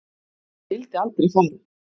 Ég vildi aldrei fara.